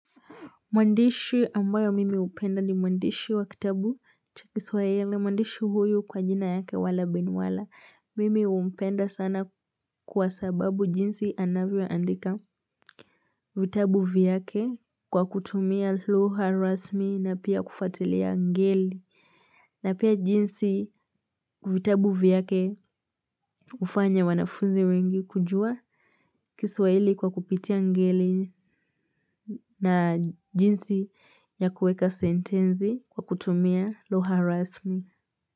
Mwandishi ambayo mimi hupenda ni mwandishi wa kitabu cha kiswahili, mwandishi huyu kwa jina yake Wallah bin Wallah. Mimi humpenda sana kwa sababu jinsi anavyoandika vitabu vyake kwa kutumia lugha rasmi na pia kufuatilia ngeli. Na pia jinsi vitabu vyake hufanya wanafunzi wengi kujua kiswahili kwa kupitia ngeli na jinsi ya kuweka sentensi kwa kutumia lugha rasmi.